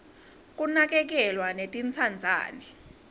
kunakekelwa netintsandzane